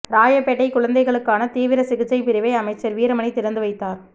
ராயபேட்டை குழந்தைகளுக்கான தீவிர சிகிச்சை பிரிவை அமைச்சர் வீரமணி திறந்து வைத்தார்